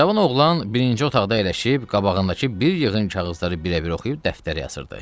Cavan oğlan birinci otaqda əyləşib qabağındakı bir yığın kağızları birə-bir oxuyub dəftərə yazırdı.